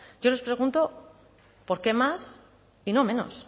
yo les pregunto por qué más y no menos